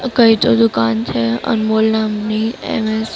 કઈ તો દુકાન છે અનમોલ નામની એમ એસ --